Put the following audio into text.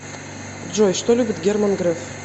джой что любит герман греф